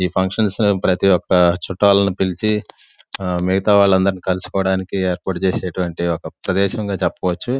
ఈ ఫంక్షన్స్ లో ప్రతి ఒక్క చుట్టాలని పిలిచి మిగతా వాళ్ళందరూ కలుసుకోవడానికి ఏర్పాటు చేసినటువంటి ఒక ప్రదేశంగా చెప్పవచ్చు.